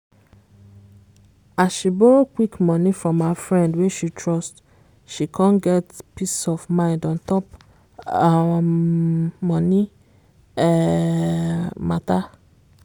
as she borrow quick money from her friend wey she trust she come get peace of mind untop um money um matter.